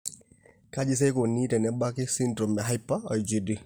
Kaji sa eikoni tenebaki esindirom eHyper IgD?